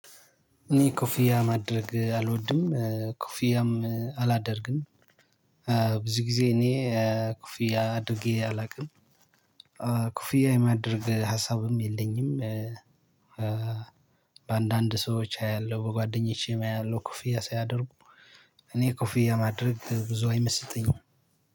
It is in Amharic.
እኔ ኮፊያ ማድረግ አልወድም ኮፊያም አላደርግም። ብዙ ጊዜ እኔ ኮፍያ አድርጌ አላቅም። ኮፍያ የማድረግ ሀሳብም የለኝም። በአንዳንድ ሰዎች አያለሁ በጓደኞቼም አያለሁ ኮፍያ ሳያደርጉ። እኔ ኮፊያ ማድረግ ብዙ አይመስጠኝም።